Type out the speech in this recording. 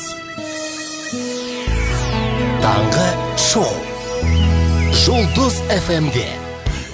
таңғы шоу жұлдыз эф эм де